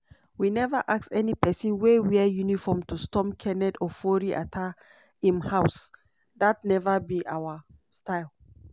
we neva ask any pesin wey wear uniform to storm kenneth ofori-atta im house; dat neva be our style.